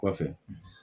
Kɔfɛ